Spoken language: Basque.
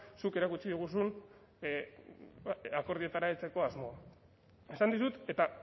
zuk erakutsi diguzun akordioetara heltzeko asmoa esan dizut eta